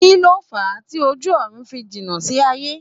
Kíni o fa tí ojú ọ̀run fi jìnà sí aye?